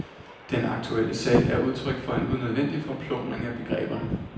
Den aktuelle sag er udtryk for en unødvendig forplumring af begreberne.